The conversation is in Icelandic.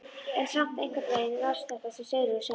En samt einhvern veginn verst þetta sem Sigríður sagði.